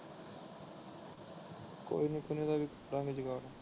ਕੋਈ ਨਹੀਂ ਇੱਕ ਦੋ ਦਿਨਾਂ ਵਿੱਚ ਕਰਾ ਗਏ ਜੁਗਾੜ।